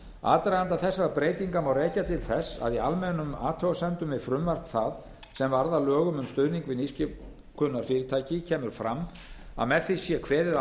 aðdraganda þessara breytingartillagna má rekja til þess að í almennum athugasemdum við frumvarp það sem varð að lögum um stuðning við nýsköpunarfyrirtæki kemur fram að með því sé kveðið